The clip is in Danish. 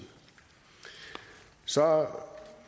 så